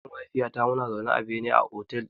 Ni da ƴar uwata muna zaune a bene a otel ɗin.